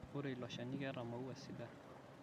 ore ilo shani keeta maua sidan